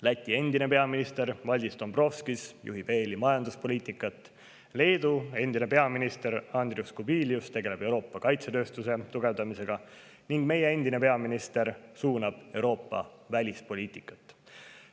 Läti endine peaminister Valdis Dombrovskis juhib EL‑i majanduspoliitikat, Leedu endine peaminister Andrius Kubilius tegeleb Euroopa kaitsetööstuse tugevdamisega ning meie endine peaminister suunab Euroopa välispoliitikat.